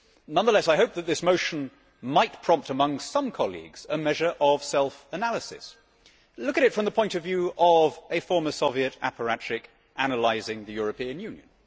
Nonetheless, I hope that this motion might prompt among some colleagues a measure of self analysis. Look at it from the point of view of a former Soviet apparatchik analysing the European Union.